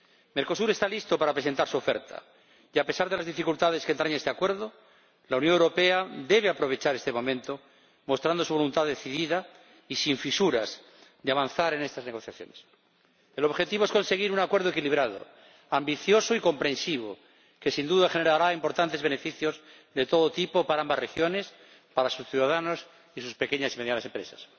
Mercosur está listo para presentar su oferta y, a pesar de las dificultades que entraña este Acuerdo, la Unión Europea debe aprovechar este momento mostrando su voluntad decidida y sin fisuras de avanzar en estas negociaciones. El objetivo es conseguir un acuerdo equilibrado, ambicioso y comprehensivo, que sin duda generará importantes beneficios de todo tipo para ambas regiones, para sus ciudadanos y para sus pequeñas y medianas empresas.